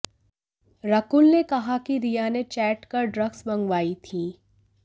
रकुल ने कहा कि रिया ने चैट कर ड्रग्स मंगवाई थीं